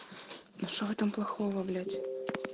что в этом плохого блять